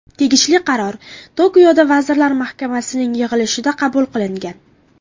Tegishli qaror Tokioda vazirlar mahkamasining yig‘ilishida qabul qilingan.